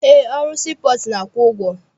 Eé, ọrụ sii pọọtụ na-akwụ ụgwọ.